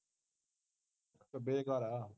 ਬੇਕਾਰ ਆ